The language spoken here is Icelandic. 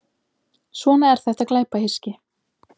Svona er þetta glæpahyski.